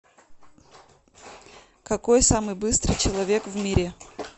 какой самый быстрый человек в мире